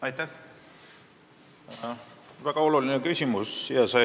Aitäh, väga oluline küsimus!